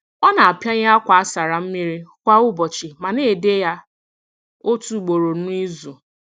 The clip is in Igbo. Ọ na-apianye akwa a sara mmiri kwa ụbọchị ma na-ede ya otu ugboro n'izu.